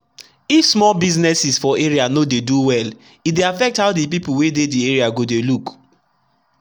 if small businesses for area no dey do welle dey affect how the people wey dey the area go dey look.